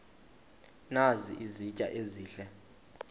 nazi izitya ezihle